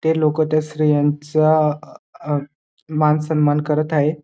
ते लोक त्या स्त्रियांचा अ मानसन्मान करत आहे.